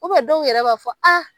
dɔw yɛrɛ b'a fɔ a